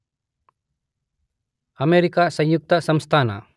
America ಸಂಯುಕ್ತ ಸಂಸ್ಥಾನ